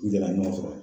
N delila ka ɲɔgɔn sɔrɔ